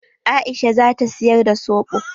Aisha zata siyar da soɓo.